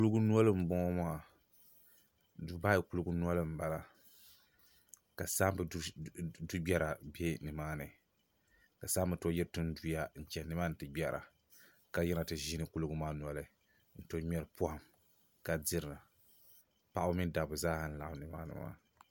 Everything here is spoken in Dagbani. kulugunoli m-bɔŋɔ maa Dubai kulugunoli m-bala ka saamba dugbera be nimaa ni ka saamba tooi yiri tinduya n-chana nimaa ni ti gbera ka yiri ti ʒiini kulugu maa noli n-tooi ŋmɛri pɔhim ka dira paɣaba mini dabba zaa n laɣim ni maa ni maa